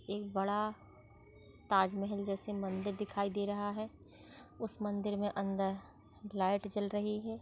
एक बड़ा ताजमहल जैसा मंदिर दिखाई दे रहा है उस मंदिर में अंदर लाइट जल रही है।